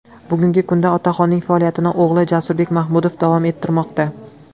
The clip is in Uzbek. Bugungi kunda otaxonning faoliyatini o‘g‘li Jasurbek Mahmudov davom ettirmoqda.